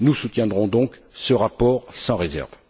Nous soutiendrons donc ce rapport sans réserve.